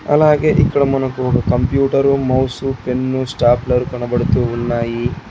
అలాగే ఇక్కడ మనకు ఒక కంప్యూటరు మౌసు పెన్ను స్టాప్లర్ కనబడుతూ ఉన్నాయి.